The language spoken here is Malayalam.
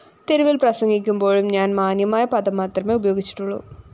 തെരുവില്‍ പ്രസംഗിക്കുമ്പോഴും ഞാന്‍ മാന്യമായ പദം മാത്രമേ ഉപയോഗിച്ചിട്ടുള്ളൂ